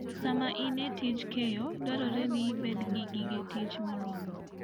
Sama in e tij keyo, dwarore ni ibed gi gige tich moromo.